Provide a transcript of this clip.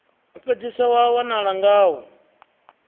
u fhedzisa wa wanala ngawo